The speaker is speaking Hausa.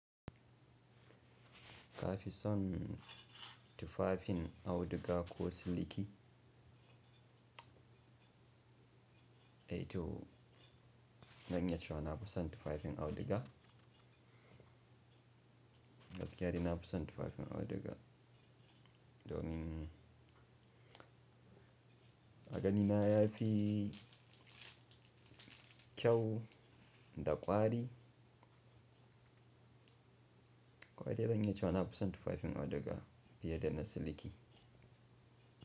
Kafi son tufafin auduga ko siliki? Eh to, zan iya cewa nafoson tufafin auduga. Gaskiya dina kusan tufafin auduga, domin agani na yafi kyau da ƙwari. Kawai dai zan iya cewa nafisan tufafin auduga fiye da na siliki.